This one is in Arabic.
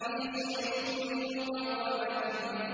فِي صُحُفٍ مُّكَرَّمَةٍ